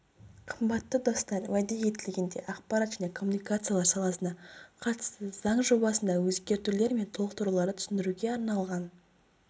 қымбатты достар уәде етілгендей ақпарат және коммуникациялар саласына қатысты заң жобасындағы өзгертулер мен толықтыруларды түсіндіруге арналған